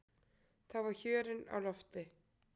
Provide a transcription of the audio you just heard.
Þá var hjörinn á lofti.